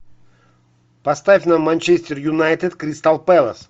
поставь нам манчестер юнайтед кристал пэлас